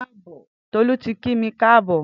Tolu ti ki mi káàbọ̀